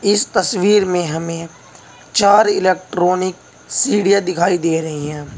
इस तस्वीर में हमें चार इलेक्ट्रॉनिक सीढ़ीया दिखाई दे रही हैं।